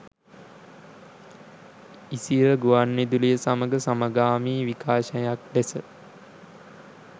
ඉසිර ගුවන්විදුලිය සමඟ සමගාමී විකාශයක් ලෙස